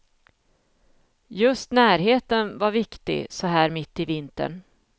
Just närheten var viktig så här mitt i vintern.